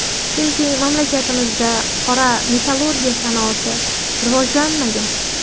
Chunki mamlakatimizda qora metallurgiya sanoati rivojlanmagan.